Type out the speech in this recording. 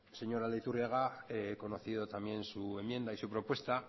señor aldaiturriaga he conocido también su enmienda y su propuesta